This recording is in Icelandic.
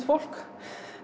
fólk